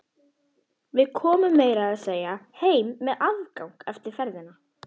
Við komum meira að segja heim með afgang eftir ferðina.